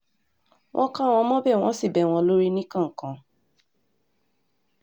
wọ́n kà wọ́n mọ́bẹ̀ wọ́n sì ń bẹ́ wọn lórí níkọ̀ọ̀kan